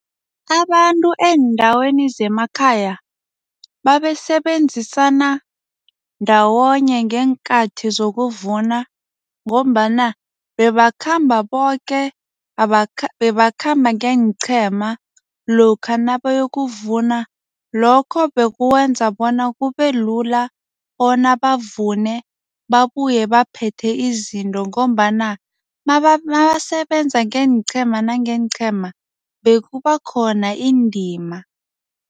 Abantu eendaweni zemakhaya babesebenzisana ndawonye ngeenkathi zokuvuna ngombana bebakhamba boke, bebakhamba ngeenqhema lokha nabayokuvuna lokho bekwenza bona kube lula bona bavune babuye baphethe izinto ngombana nabasebenza ngeenqhema nangeenqhema bekubakhona indima.